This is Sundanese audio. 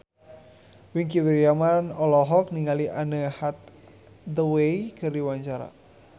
Wingky Wiryawan olohok ningali Anne Hathaway keur diwawancara